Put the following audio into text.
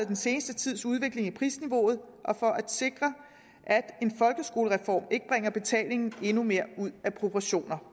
den seneste tids udvikling i prisniveauet og for at sikre at en folkeskolereform ikke bringer betalingen endnu mere ud af proportioner